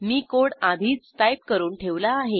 मी code आधीच type करून ठेवला आहे